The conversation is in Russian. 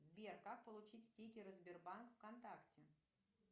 сбер как получить стикеры сбербанк в контакте